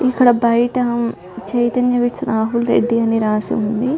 ఇక్కడ బయట చైతన్య వెడ్స్ రాహుల్ రెడ్డి అని రాసింది.